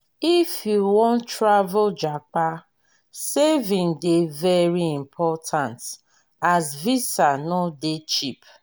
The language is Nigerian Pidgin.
if you wan travel japa saving dey very important as visa no dey cheap.